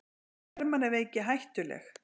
Er hermannaveiki hættuleg?